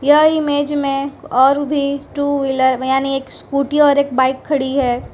यह इमेज में और भी टू व्हीलर यानी एक स्कूटी और एक बाइक खड़ी है।